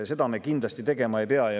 Seda me kindlasti tegema ei pea.